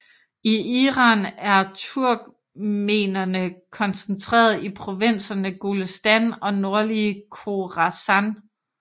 I Iran er turkmenerene koncentrerede i provinserne Golestan og nordlige Khorasan